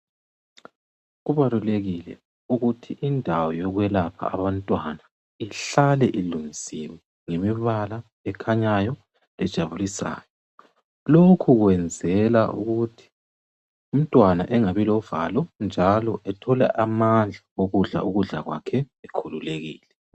kubalulekile ukuthi indawo yokwelapha abantwana ihlale ilungisiwe ngemibala ekhanyayo ejabulisayo lokhu kwenzela ukuthi umntwana engabi lovalo njalo ethole amandla okudla ukudlakwakhe ekhululekile